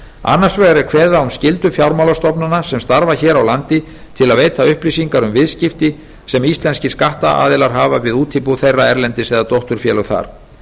annars vegar er kveðið á um skyldu fjármálastofnana sem starfa hér á landi til að veita upplýsingar um viðskipti sem íslenskir skattaðilar hafa við útibú þeirra erlendis eða dótturfélög þar